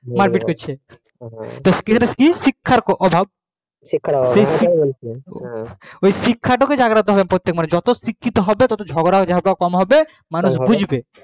মারপিট করছে এটা কি শিক্ষার অভাব শিক্ষা টাকে জাগ্রত করতে হবে যতো শিক্ষিত হবে ততো ঝগড়া টগরা কম হবে মানুষ বুজবে